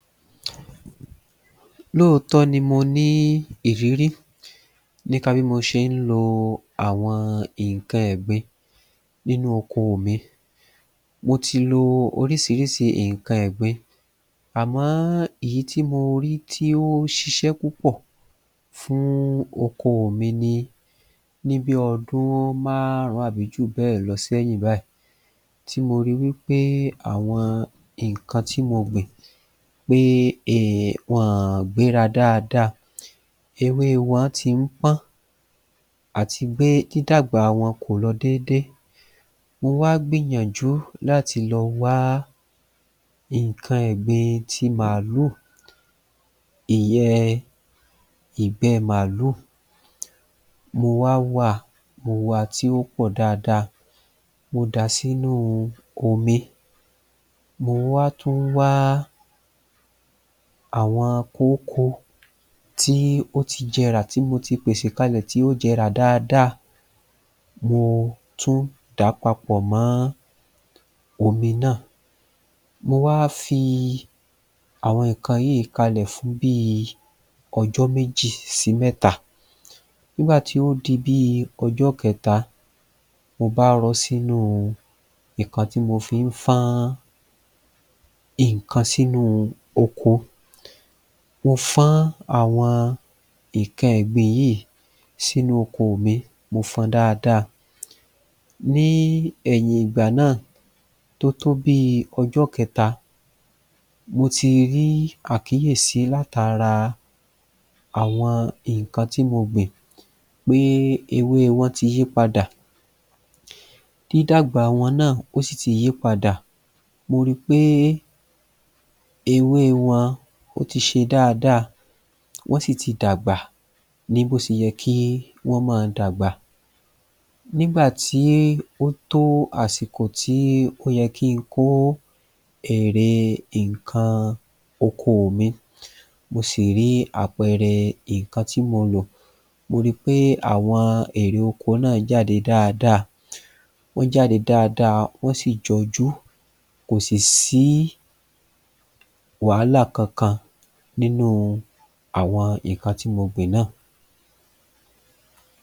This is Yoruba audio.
Lóòótọ́ ni mo ní ìrírí nípa bí mo ṣe ń lo àwọn nǹkan ẹ̀gbin nínú okoò mi Mo ti lo oríṣiríṣi nǹkan ẹ̀gbin àmọ́ èyí tí mo rí tí ó ṣiṣẹ́ púpọ̀ fún okoò mi ní ní bí ọdún márùn-ún àbí ju bẹ́ẹ̀ lọ sẹ́yìn báyìí tí mo ri wí pé àwọn nǹkan tí mo gbìn pé um wọn ò gbéra dáadáa ewée wọ́n ti ń pọ́n àti pé dídàgbà wọn kò lo déédé Mo wá gbìyànjú láti lọ wá nǹkan ẹ̀gbin ti màálù ìyẹn ìgbẹ màálù mo wá wá a mo wa tí ó pọ̀ dáada mo dàá sínúu omi mo wá tún wá àwọn kókó tí ó ti jẹrà tí mo ti pèsè kalẹ̀ tí ó jẹrà dáada mo tún dà á papọ̀ mọ́ omi náà mo wá fi àwọn nǹkan yìí kalẹ̀ fún bíi ọjọ́ méjì sí mẹ́ta Nígbà ti o di bíi ọjọ́ kẹ́ta mo bá rọ ọ́ sínúu nǹkan tí mo fín fọ́n nǹkan sínu oko mo fọ́n àwọn nǹkan ẹ̀gbin yìí sínú oko mi mo fọn dáada Ní ẹ̀yìn ìgbà náà tó tó bíi ọjọ́ kẹ́ta mo ti rí àkíyèsí látara àwọn nǹkan tí mo gbìn pé ewée wọn ti yí padà dídàgbà wọn náà ó sì ti yípadà mo ri pé ewée wọn ó ti ṣe dáadáa wọ́n sì ti dàgbà ní bó ṣe yẹ kí wọn má a dàgbà Nígbà tí ó tó àsìkò tí ó yẹ kí n kó èrè nǹkan okoò mi mo sì rí àpẹẹrẹ nǹkan tí mo lò mo ri pé àwọn èrè oko náà jáde dáadáa wọ́n jáde dáadáa wọ́n sì jọjú kò sì sí wàhálà kankan nínúu àwọn nǹkan tí mo gbìn náà